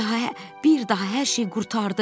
bir daha, hər şey qurtardı.